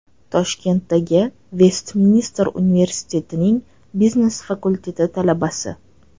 Toshkentdagi Vestminster universitetining biznes fakulteti talabasi.